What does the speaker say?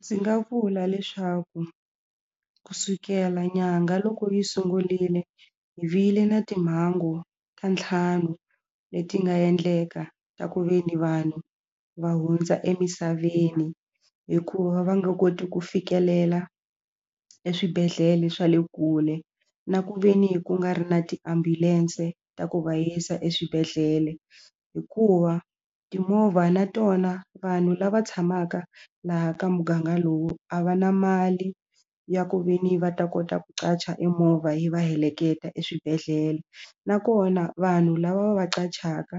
Ndzi nga vula leswaku kusukela nyanga loko yi sungurile hi vile na timhangu ta ntlhanu leti nga endleka ta ku ve ni vanhu va hundza emisaveni hikuva va nga koti ku fikelela eswibedhlele swa le kule na ku ve ni ku nga ri na tiambulense ta ku va yisa eswibedhlele hikuva timovha na tona vanhu lava tshamaka laha ka muganga lowu a va na mali ya ku veni va ta kota ku qacha e movha yi va heleketa eswibedhlele nakona vanhu lava va va qachaka